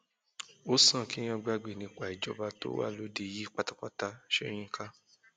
ó sàn kéèyàn gbàgbé nípa ìjọba tó wà lóde yìí pátápátá sọyìnkà